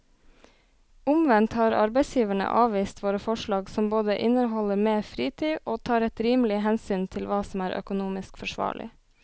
Omvendt har arbeidsgiverne avvist våre forslag som både inneholder mer fritid og tar et rimelig hensyn til hva som er økonomisk forsvarlig.